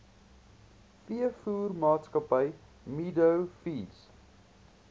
veevoermaatskappy meadow feeds